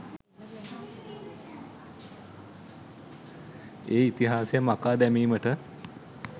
ඒ ඉතිහාසය මකා දැමීමට